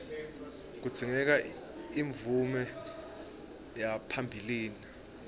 kudzingeka imvume yaphambilini